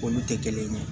Olu tɛ kelen ye